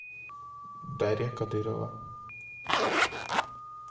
дарья кадырова